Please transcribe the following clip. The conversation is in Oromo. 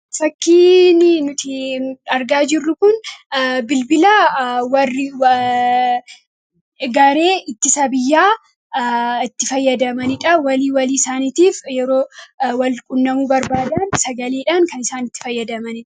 Fakkiin nuti argaa jirru kun bilbila warri garee ittisa biyyaa itti fayyadamanidha. Walii walii isaaniitiif yeroo wal quunnamuu barbaadan sagaleedhaan kan itti fayyadamanidha.